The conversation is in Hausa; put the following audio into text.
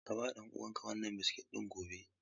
Ka ba ɗan uwanka wannan biskit ɗin gobe.